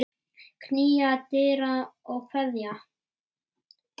Knýja dyra og kveðja.